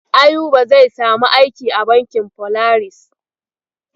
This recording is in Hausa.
Ayuba zai samu aiki a bankin Folaris.